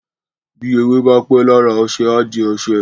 bi ewé bá pé lára oṣe a dì oṣe